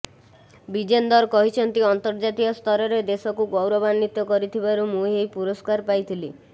ବିଜେନ୍ଦର କହିଛନ୍ତି ଅନ୍ତର୍ଜାତୀୟ ସ୍ତରରେ ଦେଶକୁ ଗୌରବାନ୍ବିତ କରିଥିବାରୁ ମୁଁ ଏହି ପୁରସ୍କାର ପାଇଥିଲି